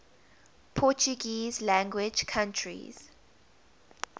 portuguese language countries